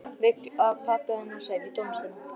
Vill að pabbi hennar semji tónlistina.